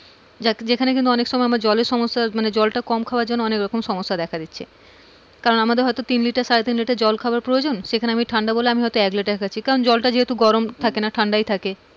যাক যেখানে কিন্তু অনেক সময় জলের সমস্যা মানে জল তা কম খাবার জন্যে অনেক রকম সমস্যা দেখা দিচ্ছে কারণ আমাদের হয়তো তিন লিটার সাড়ে তিন লিটার জল খাবার প্রয়োজন সেখানে ঠান্ডা বলে আমিই হয়তো এক লিটার খাচ্ছি কারণ জল তা যেহুতু জোড়ম থাকে না ঠান্ডা ই থাকে,